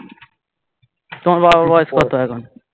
তোমার বাবার বয়স কত এখন